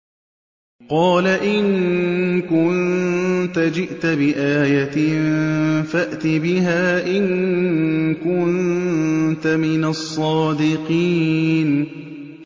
قَالَ إِن كُنتَ جِئْتَ بِآيَةٍ فَأْتِ بِهَا إِن كُنتَ مِنَ الصَّادِقِينَ